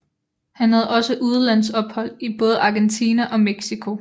Han havde også udlandsophold i både Argentina og Mexico